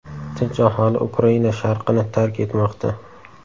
Tinch aholi Ukraina sharqini tark etmoqda.